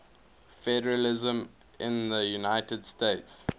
federalism in the united states